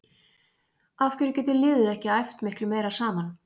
Af hverju getur liðið ekki æft miklu meira saman?